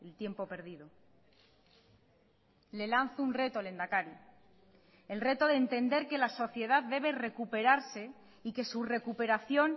tiempo perdido le lanzo un reto lehendakari el reto de entender que la sociedad debe recuperarse y que su recuperación